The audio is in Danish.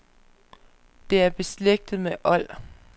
Det er beslægtet med old.